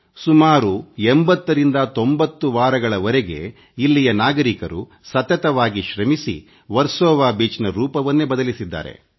ಸುಮಾರು 809೦ ವಾರಗಳವರೆಗೆ ಇಲ್ಲಿಯ ನಾಗರಿಕರು ಸತತವಾಗಿ ಶ್ರಮಿಸಿ ವರ್ಸೊವ ಬೀಚ್ನ ಸ್ವರೂಪವನ್ನೇ ಬದಲಿಸಿದ್ದಾರೆ